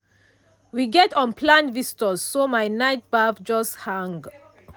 we get unplanned visitors so my night baff just hang.